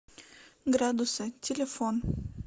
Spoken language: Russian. градусы телефон